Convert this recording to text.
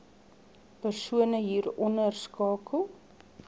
persone hieronder skakel